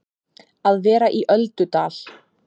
Að vera í öldudal